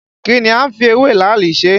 Kí ni a ń fi ewé làálì ṣe?